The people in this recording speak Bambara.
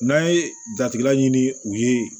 N'an ye jatigɛlan ɲini u ye